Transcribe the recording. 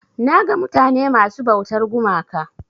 Naga mutane masu ɓautar gumaka.